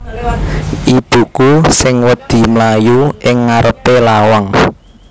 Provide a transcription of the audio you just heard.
Ibuku sing wedi mlayu ing ngarepe lawang